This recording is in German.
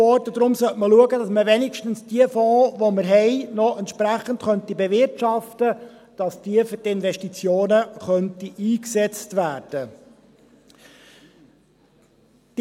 Deshalb sollte man schauen, dass man wenigstens die Fonds, die wir noch haben, entsprechend bewirtschaften könnte, damit sie für die Investitionen eingesetzt werden könnten.